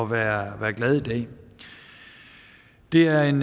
være glad i dag det er en